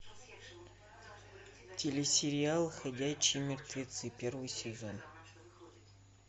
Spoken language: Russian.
телесериал ходячие мертвецы первый сезон